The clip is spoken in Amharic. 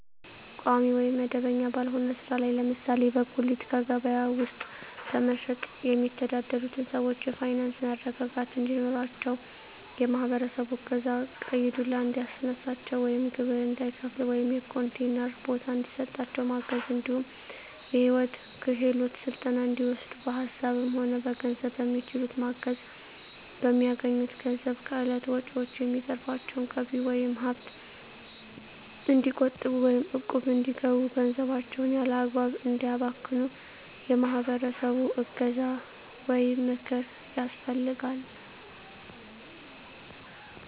ቋሚ ወይም መደበኛ ባልሆነ ስራ ላይ ለምሳሌ በጉሌት ከበያ ውስጥ በመሸትጥ የሚተዳደሩትን ሰዎች የፋይናንስ መረጋጋት እንዲኖራቸው የማህበረሰቡ እገዛ ቀይ ዱላ እንዳያስነሳቸው ወይም ግብር እንዳይከፍሉ ወይም የኮንቲነር ቦታ እንዲሰጣቸው ማገዝ እንዲሁም የሂወት ክሄሎት ስልጠና እንዲወስዱ በሀሳብም ሆነ በገንዘብ በሚችሉት ማገዝ፣ በሚያገኙት ገንዘብ ከእለት ወጭዎች የሚተርፋቸውን ገቢ ወይም ሀብት እንዲቆጥቡ ወይም እቁብ እንዲገቡ ገንዘባቸውን ያላግባብ እንዳያባክኑ የማህበረሰቡ እገዛ ወይም ምክር ያስፈልጋል።